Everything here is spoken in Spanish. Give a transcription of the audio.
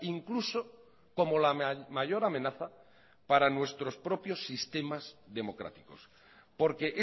incluso como la mayor amenaza para nuestros propios sistemas democráticos porque